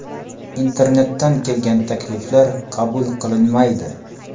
Internetdan kelgan takliflar qabul qilinmaydi.